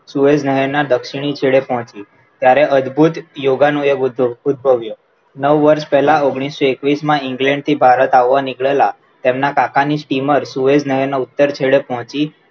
Sewage નહેર દક્ષિણી છેડે પહોચી ત્યારે અદ્ભુત યોગાનું એક ભવ્ય નવ વર્ષો પહેલા ઓગણીસો વીસ એકવીસમાં ભારત આવવા નીકળેલા એમના કાકાની steamer સુએજ નહેરના ઉતર છેડે પહોચી.